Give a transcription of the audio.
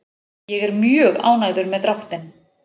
Ég er mjög ánægður með dráttinn.